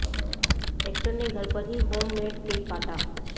actor ने घर पर ही होम मेड केक काटा